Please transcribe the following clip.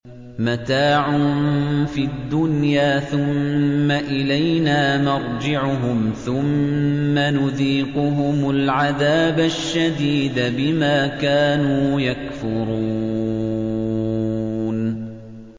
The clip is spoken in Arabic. مَتَاعٌ فِي الدُّنْيَا ثُمَّ إِلَيْنَا مَرْجِعُهُمْ ثُمَّ نُذِيقُهُمُ الْعَذَابَ الشَّدِيدَ بِمَا كَانُوا يَكْفُرُونَ